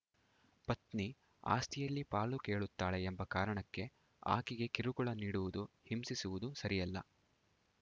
ಪತ್ನಿ ಆಸ್ತಿಯಲ್ಲಿ ಪಾಲು ಕೇಳುತ್ತಾಳೆ ಎಂಬ ಕಾರಣಕ್ಕೆ ಆಕೆಗೆ ಕಿರುಕುಳ ನೀಡುವುದು ಹಿಂಸಿಸುವುದು ಸರಿಯಲ್ಲ